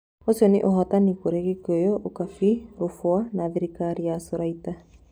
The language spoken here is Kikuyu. Ũcio nĩ ũhotani kũrĩ Gikuyu, Ukabi, Rubwa na thirikari ya Suriata.